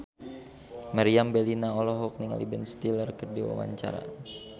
Meriam Bellina olohok ningali Ben Stiller keur diwawancara